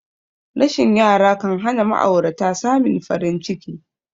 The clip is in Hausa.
Rashin yara kanhana ma'aurata samin farin ciki